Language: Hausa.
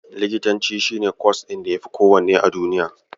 Likitanci shi ne kwas ɗin ya yafi kowanne a duniya.